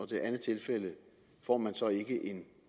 det andet tilfælde får man så ikke en